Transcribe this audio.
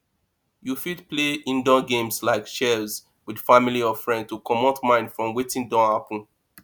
you fit play indoor game like chess with family or friend to comot mind from wetin don happen